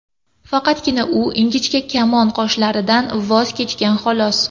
Faqatgina u ingichka kamon qoshlaridan voz kechgan, xolos.